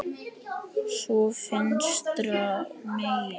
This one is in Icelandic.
Svo vinstra megin.